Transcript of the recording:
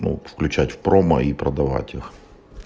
ну включать в промо и продавать их